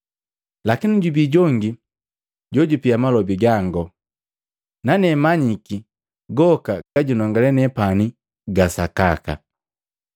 Lakini jubi jongi jojupia malobi gango, nane manyiki goka gajunongale nepani ga sakaka.